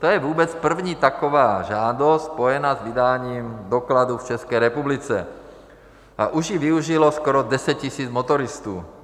To je vůbec první taková žádost spojená s vydáním dokladů v České republice a už ji využilo skoro 10 000 motoristů.